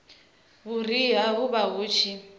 vhuriha hu vha hu tshi